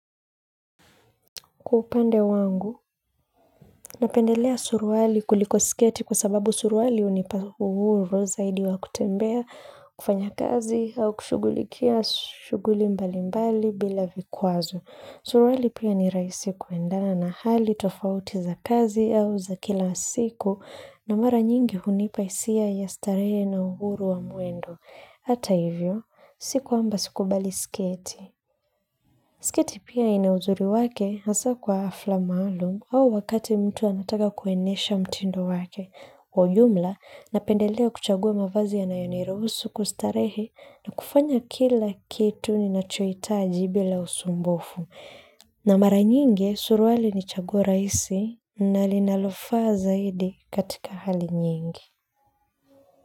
Kwa upande wangu, napendelea suruali kuliko sketi kwa sababu suruali hunipa uhuru zaidi wa kutembea, kufanya kazi au kushugulikia shughuli mbali mbali bila vikwazo. Suruali pia ni rahisi kuendana na hali tofauti za kazi au za kila siku na mara nyingi hunipa hisia ya starehe na uhuru wa mwendo. Hata hivyo, si kwamba sikubali sketi sketi pia ina uzuri wake, hasa kwa hafla maalum au wakati mtu anataka kuenesha mtindo wake kwa jumla, napendelea kuchagua mavazi yanayoniruhusu kustarehe na kufanya kila kitu ninachoitaji bila usumbofu. Na mara nyingi suruali ni chaguo rahisi na linalofaa zaidi katika hali nyingi.